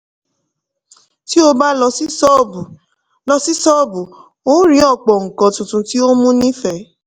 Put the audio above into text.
tí o bá lọ sí ṣọ́ọ̀bù lọ sí ṣọ́ọ̀bù o rí ọ̀pọ̀ nǹkan tuntun tí ó mú nífẹ̀ẹ́.